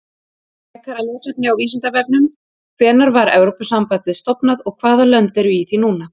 Frekara lesefni á Vísindavefnum: Hvenær var Evrópusambandið stofnað og hvaða lönd eru í því núna?